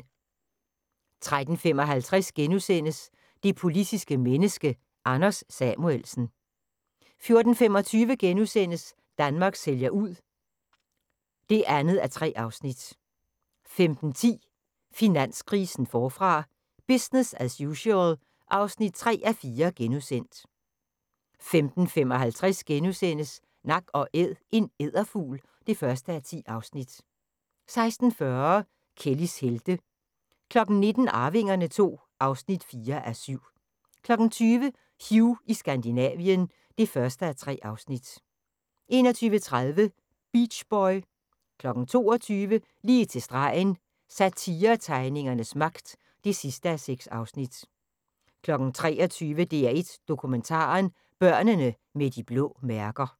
13:55: Det politiske menneske – Anders Samuelsen * 14:25: Danmark sælger ud (2:3)* 15:10: Finanskrisen forfra – business as usual (3:4)* 15:55: Nak & Æd – en edderfugl (1:10)* 16:40: Kellys helte 19:00: Arvingerne II (4:7) 20:00: Hugh i Skandinavien (1:3) 21:30: Beach boy 22:00: Lige til stregen – Satiretegningernes magt (6:6) 23:00: DR1 Dokumentaren: Børnene med de blå mærker